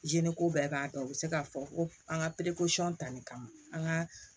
ko bɛɛ b'a dɔn u bɛ se k'a fɔ ko an ka tali kama an ka